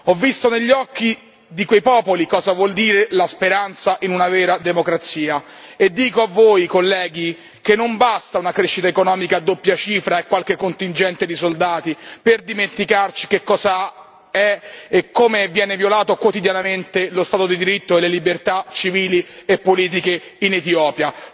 Ho visto negli occhi di quei popoli cosa vuol dire la speranza in una vera democrazia e dico a voi, colleghi, che non basta una crescita economica a doppia cifra e qualche contingente di soldati per dimenticarci che cosa sono e come vengono violati quotidianamente lo Stato di diritto e le libertà civili e politiche in Etiopia.